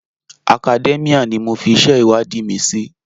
Academia ni mo fi iṣẹ́ ìwádìí mi sí.